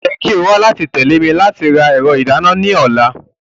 O yẹ ki o wa lati tẹle mi lati ra ẹrọ idana ina ni ọla.